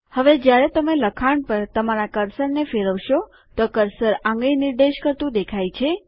હવે જ્યારે તમે લખાણ પર તમારા કર્સરને ફેરવશો તો કર્સર આંગળી નિર્દેશ કરતું દેખાય છે